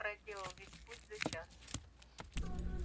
проделал весь путь за час